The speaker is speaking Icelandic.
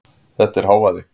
Þetta er hávaði.